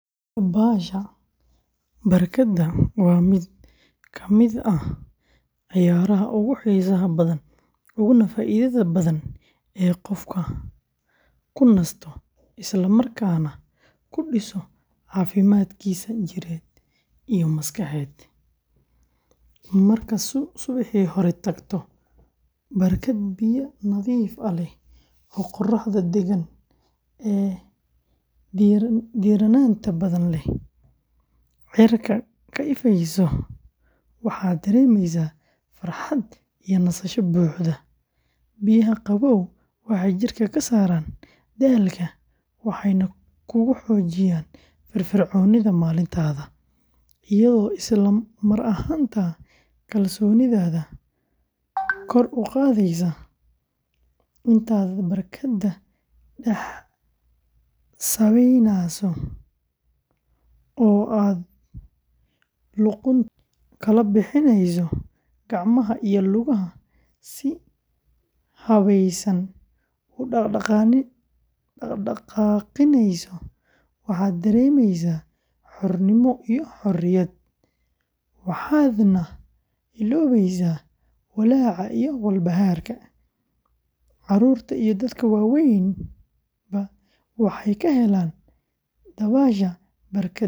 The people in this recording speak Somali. Dabaasha barkadda waa mid ka mid ah ciyaaraha ugu xiisaha badan uguna faa’iidada badan ee qofku ku nasto isla markaana ku dhiso caafimaadkiisa jidheed iyo maskaxeed; markaad subaxii hore tagto barkad biyaha nadiifka ah leh, oo qorraxda deggan ee diirranaanta badan leh cirka ka ifineyso, waxaad dareemaysaa farxad iyo nasasho buuxda; biyaha qabow waxay jidhka ka saaraan daalka, waxayna kugu xoojiyaan firfircoonida maalintaada, iyadoo isla mar ahaantaana kalsoonidaada kor u qaadaysa; intaad barkadda dhex sabaynayso, oo aad luqunta kala bixineyso, gacmaha iyo lugaha si habaysan u dhaqaaqineyso, waxaad dareemeysaa xornimo iyo xorriyad, waxaadna illoobaysaa walaaca iyo walbahaarka; carruurta iyo dadka waaweynba waxay ka helaan dabaasha barkadda fursad.